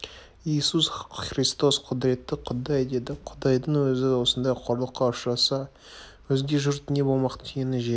иисус христос құдіретті құдай деді құдайдың өзі осындай қорлыққа ұшыраса өзге жұрт не болмақ түйені жел